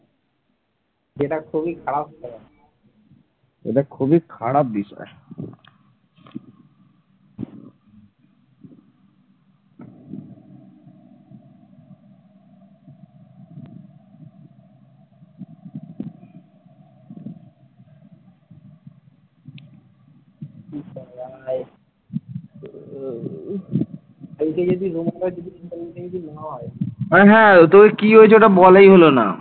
কি হয়েছে ওটা বলাই হলো না